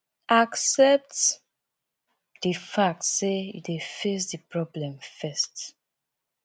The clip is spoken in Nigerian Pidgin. accept di fact sey you dey face di problem first